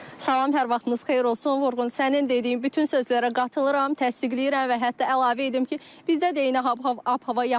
Salam, hər vaxtınız xeyir olsun, Vurğun, sənin dediyin bütün sözlərə qatılıram, təsdiqləyirəm və hətta əlavə edim ki, bizdə də eyni ap-hava yaşanır.